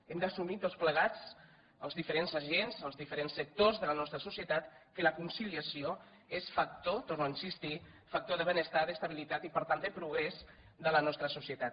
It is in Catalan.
hem d’assumir tots plegats els diferents agents els diferents sectors de la nostra societat que la conciliació és hi torno a insistir factor de benestar d’estabilitat i per tant de progrés de la nostra societat